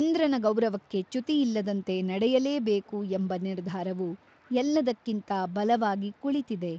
ಇಂದ್ರನ ಗೌರವಕ್ಕೆ ಚ್ಯುತಿಯಿಲ್ಲದಂತೆ ನಡೆಯಲೇಬೇಕು ಎಂಬ ನಿರ್ಧಾರವು ಎಲ್ಲದಕ್ಕಿಂತ ಬಲವಾಗಿ ಕುಳಿತಿದೆ.